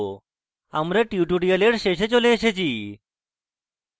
আমরা tutorial শেষে চলে এসেছি